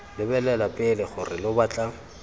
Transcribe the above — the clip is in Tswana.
lebelela pele gore lo batla